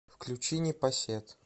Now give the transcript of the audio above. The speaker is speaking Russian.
включи непосед